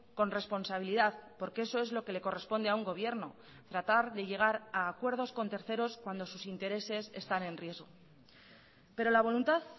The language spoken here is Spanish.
con responsabilidad porque eso es lo que le corresponde a un gobierno tratar de llegar a acuerdos con terceros cuando sus intereses están en riesgo pero la voluntad